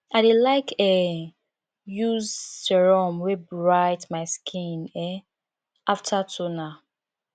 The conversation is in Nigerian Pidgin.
i dey like um use serum wey bright my skin um after toner